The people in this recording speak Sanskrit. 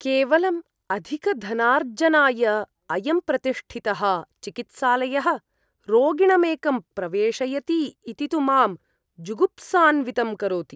केवलम् अधिकधनार्जनाय अयं प्रतिष्ठितः चिकित्सालयः रोगिणमेकं प्रवेशयति इति तु मां जुगुप्सान्वितं करोति।